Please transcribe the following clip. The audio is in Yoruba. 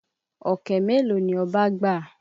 Ọ̀kẹ́ mélòó ni Ọba gbà?